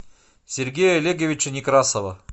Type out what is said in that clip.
сергея олеговича некрасова